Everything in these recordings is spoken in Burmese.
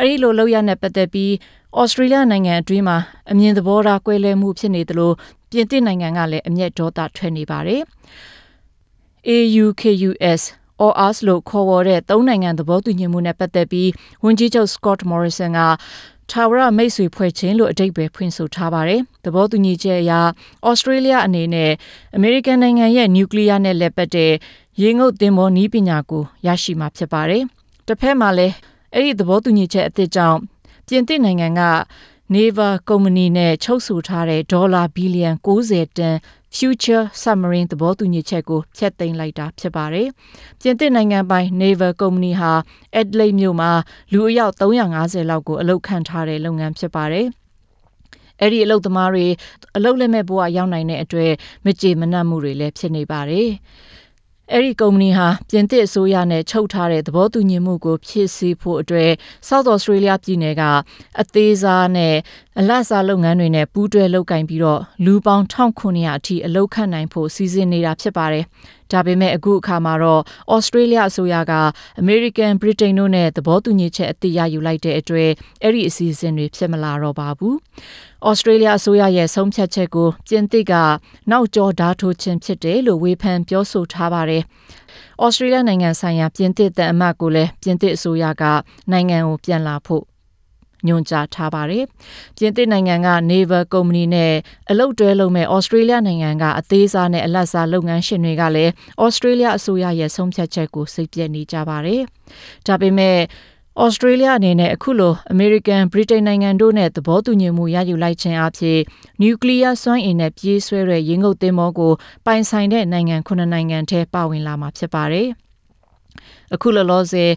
အဲဒီလို လုပ်ရပ်နဲ့ ပတ်သက်ပြီး သြစတြေးလျနိုင်ငံအတွင်းမှာ အမြင်သဘောထားကွဲလွဲမှု ဖြစ်နေကြသလို ပြင်သစ်နိုင်ငံနဲ့ တရုတ်နိုင်ငံကလည်း အမျက်ဒေါသထွက်နေကြပါတယ်။ AUKUS လို့ ခေါ်ဝေါ်တဲ့ သုံးနိုင်ငံ သဘောတူညီမှုနဲ့ ပတ်သက်ပြီး ဝန်ကြီးချုပ် စကော့တ်မော်ရီဆန်က ထာဝရမိတ်ဆွေဖွဲ့ခြင်းလို့ အဓိပ္ပာယ်ဖွင့်လိုက်ပါတယ်။ သဘောတူညီချက်အရ သြစတြေးလျအနေနဲ့ အမေ၇ိကန်နိုင်ငံရဲ့ နျူကလီးယားနဲ့ လည်ပတ်တဲ့ ရေငုတ်သင်္ဘောနည်းပညာကို ရရှိမှာ ဖြစ်ပါတယ်။ တဖက်မှာလည်း အဲဒီ သဘောတူညီချက်အသစ်ကြောင့် ပြင်သစ်နိုင်ငံက နေဗာကုမ္ပဏီနဲ့ ချုပ်ဆိုတဲ့ ဒေါ်လာ ဘီလီယံ ၉၀ တန် Future Submarine သဘောတူညီချက်ကို ဖျက်သိမ်းလိုက်တာ ဖြစ်ပါတယ်။ ပြင်သစ်နိုင်ငံပိုင် နေဗာ ကုမ္ပဏီဟာ အက်ဒလိတ်မြို့မှာ လူအယောက် ၃၅၀ ကို အလုပ်ခန့်ထားတဲ့ လုပ်ငန်းဖြစ်ပါတယ်။ အဲဒီအလုပ်သမားတွေ အလုပ်လက်မဲ့ဘဝ ရောက်နိုင်တဲ့အတွက် မကျေနပ်မှုတွေလည်း ရှိပါတယ်။ အဲဒီကုမ္ပဏီဟာ ပြင်သစ်အစိုးရနဲ့ ချုပ်ထားတဲ့ သဘောတူညီမှုကို ဖြည့်ဆည်းဖို့အတွက် South Australia ပြည်နယ်က အသေးစား၊ အလတ်စား လုပ်ငန်းတွေနဲ့ ပူးတွဲလုပ်ကိုင်ပြီး လူပေါင်း ၁၇၀၀ အထိ အလုပ်ခန့်နိုင်ဖို့ စီစဉ်ထားတာ ဖြစ်ပါတယ်။ ဒါပေမဲ့ အခုအခါမှာ သြစတြေးလျ အစိုးရက အမေရိကန်၊ ဗြိတိန်တို့နဲ့ သဘောတူညီချက် အသစ်ရယူလိုက်တဲ့အတွက် အဲဒီအစီအစဉ်တွေ ဖြစ်မလာတော့ပါဘူး။ သြစတြေးလျအစိုးရရဲ့ ဆုံးဖြတ်ချက်ကို ပြင်သစ်က နောက်ကျောကို ဓားထိုးခြင်း ဖြစ်တယ်လို့ ဝေဖန်ပြောဆိုထားပါတယ်။ ပြင်သစ်နိုင်ငံက နေဗာ ကုမ္ပဏီနဲ့ အလုပ်တွဲလုပ်မယ့် သြစတြေးလျနိုင်ငံက အသေးစားနဲ့ အလတ်စား လုပ်ငန်းရှင်တွေကလည်း စိတ်ပျက်နေကြပါတယ်။ ဒါပေမယ့် သြစတြေးလျအနေနဲ့ အခုလို အမေရိကန်၊ ဗြိတိန်နိုင်ငံတို့နဲ့ သဘောတူညီမှု ရယူလိုက်ခြင်းအားဖြင့် နယူးကလီးယား စွမ်းအင်နဲ့ ပြေးဆွဲတဲ့ ရေငုတ်သင်္ဘောကို ပိုင်ဆိုင်တဲ့ နိုင်ငံ ၇ နိုင်ငံထဲမှာ ပါဝင်လာမှာ ဖြစ်ပါတယ်။ အခုလောလောဆယ်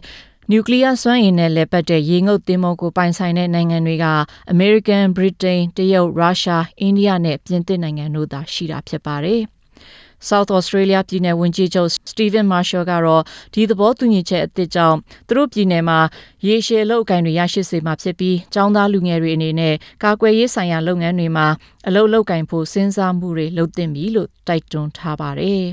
နျူကလီးယားစွမ်းအင်နဲ့ လည်ပတ်တဲ့ ရေငုတ်သင်္ဘောကို ပိုင်ဆိုင်တဲ့ နိုင်ငံတွေက အမေရိကန်၊ ဗြိတိန်၊ တရုတ်၊ ရုရှား၊ အိန္ဒိယနဲ့ ပြင်သစ်နိုင်ငံတို့ ဖြစ်ကြပါတယ်။ South Australia ပြည်နယ်ဝန်ကြီးချုပ် Steven Marshall ကတော့ ဒီသဘောတူညီချက်အသစ်ကြောင့် သူတို့ပြည်နယ်မှာ ရေရှည်အလုပ်အကိုင်တွေ ရရှိစေမှာဖြစ်ပြီး ကျောင်းသား လူငယ်တွေအနေနဲ့ ကာကွယ်ရေးဆိုင်ရာ လုပ်ငန်းမှာ အလုပ်လုပ်ကိုင်ဖို့ စဉ်းစားမှုတွေ လုပ်သင့်တယ်လို့ တိုက်တွန်းထားပါတယ်။